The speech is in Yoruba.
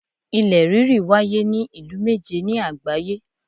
Ilẹ̀ ríri wáyé ní ìlú méje ni àgbáyé